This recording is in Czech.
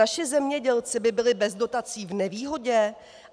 Naši zemědělci by byli bez dotací v nevýhodě?